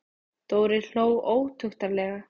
Dóri hló ótuktarlega.